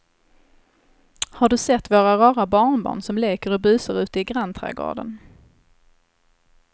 Har du sett våra rara barnbarn som leker och busar ute i grannträdgården!